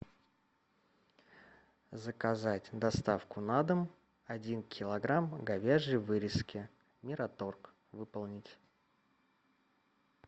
заказать доставку на дом один килограмм говяжьей вырезки мираторг выполнить